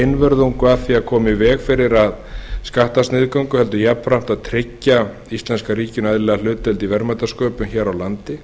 einvörðungu að því að koma í veg fyrir skattasniðgöngu heldur jafnframt að tryggja íslenska ríkinu eðlilega hlutdeild í verðmætasköpun hér á landi